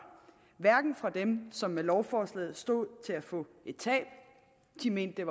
hverken fra dem som med lovforslaget stod til at få et tab de mente at